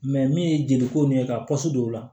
min ye jeli ko nin ye ka pɔsi don o la